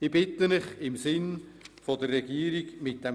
Ich bitte Sie, mit diesem Vorstoss im Sinne der Regierung umzugehen.